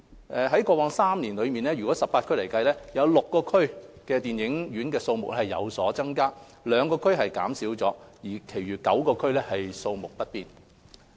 在過去3年來，在18區當中 ，6 區的電影院數目有所增加，兩區減少，其餘9區數目不變。